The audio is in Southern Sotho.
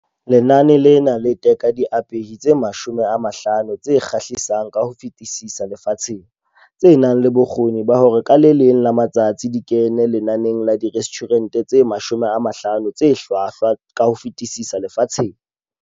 Lenane lena le teka diapehi tse 50 tse kgahlisang ka ho fetisisa lefatsheng, tse nang le bokgoni ba hore ka le leng la matsatsi di kene lenaneng la Direstjhurente tse 50 tse Hlwahlwa ka ho Fetisisa Lefatsheng.